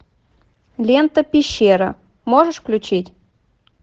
лента пещера можешь включить